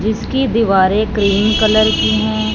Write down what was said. इसकी दीवारें cream colour की हैं।